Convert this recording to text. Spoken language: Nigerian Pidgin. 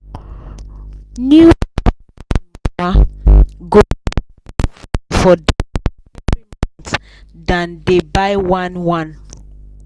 new papa and mama go dey buy for diaper every month than dey buy one-one